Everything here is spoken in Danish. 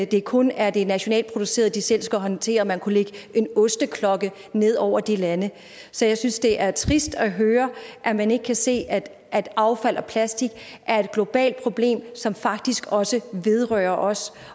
det kun er det nationalt producerede de selv skal håndtere man kunne lægge en osteklokke ned over de lande så jeg synes det er trist at høre at man ikke kan se at at affald og plastik er et globalt problem som faktisk også vedrører os